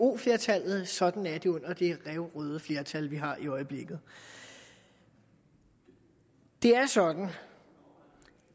flertallet sådan er det under det ræverøde flertal vi har i øjeblikket det er sådan